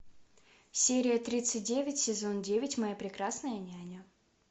серия тридцать девять сезон девять моя прекрасная няня